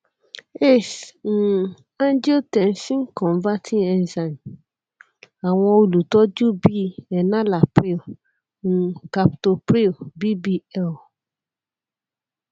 ace um angiotensin converting enzyme awọn olutọju bi enalapril um captopril bbl